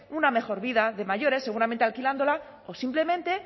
una mejor vida de mayores seguramente alquilándola o simplemente